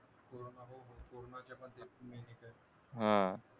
हा